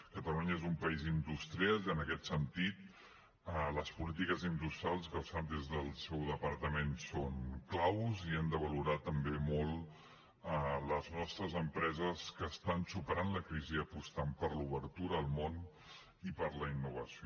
catalunya és un país industrial i en aquest sentit les polítiques industrials que es fan des del seu departament són clau i han de valorar també molt les nostres empreses que estan superant la crisi apostant per l’obertura al món i per la innovació